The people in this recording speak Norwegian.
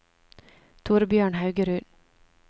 Torbjørn Haugerud